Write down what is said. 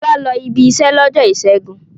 Fọlá lọ ibiṣẹ́ lọ́jọ́ ìṣẹ́gun.